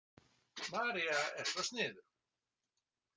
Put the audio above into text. María er svo sniðug.